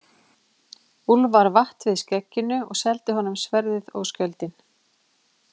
Úlfar vatt við skegginu og seldi honum sverðið og skjöldinn.